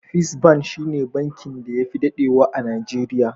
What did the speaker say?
Fis ban shi ne bankin da ya fi daɗewa a Najeriya.